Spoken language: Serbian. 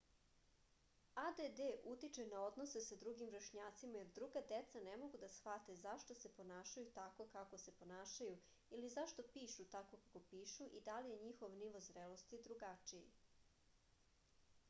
add utiče na odnose sa drugim vršnjacima jer druga deca ne mogu da shvate zašto se ponašaju tako kako se ponašaju ili zašto pišu tako kako pišu ili da je njihov nivo zrelosti drugačiji